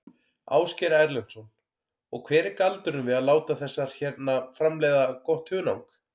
Ásgeir Erlendsson: Og hver er galdurinn við að láta þessar hérna framleiða gott hunang?